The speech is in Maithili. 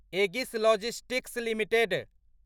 Agassiz logistics limited